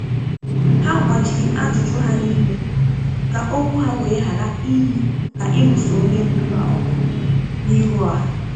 Ha gbachiri ajụjụ hà n’ime, ka okwu ha wee ghara iyi ka ịlụso onye ndu ha ọgụ n’ihu ọha